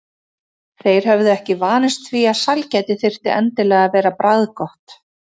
Þeir höfðu ekki vanist því að sælgæti þyrfti endilega að vera bragðgott.